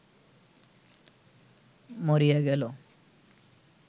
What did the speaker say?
মরিয়া গেল